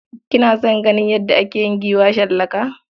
Kina son ganin yadda ake yin giwa shallaka?